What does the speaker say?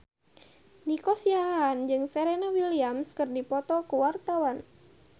Nico Siahaan jeung Serena Williams keur dipoto ku wartawan